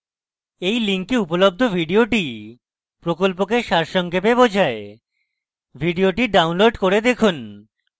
এই link উপলব্ধ video প্রকল্পকে সারসংক্ষেপে বোঝায় video ডাউনলোড করে দেখুন